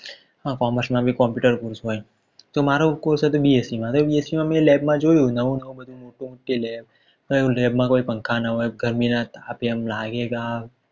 પણ computer હોય તો મારો cosh હતો bsc માં તો મેં લેમ માં જોયું તો નવું નવું થયું કે lab માં કોઈ પંખા ના હોય ગરમી માં આપણને એ લાગે કે આ